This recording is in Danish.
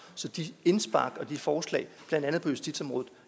så de indspark og de forslag blandt andet på justitsområdet